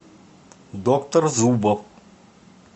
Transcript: доктор зубов